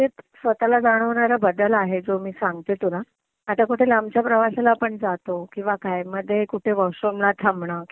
एक स्वतःला जाणवणारा बदल आहे तो मी सांगते तुला. आता कुठे लांबच्या प्रवासाला आपण जातो किंवा काय मध्ये कुठे वॉशरूमला थांबणं किंवा